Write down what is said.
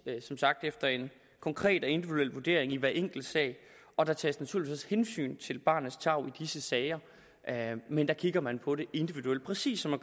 som sagt efter en konkret og individuel vurdering i hver enkelt sag og der tages naturligvis også hensyn til barnets tarv i disse sager men der kigger man på det individuelt præcis som